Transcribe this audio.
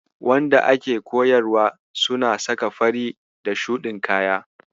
Wanda ake koyarwa suna saka fari da shuɗin kaya.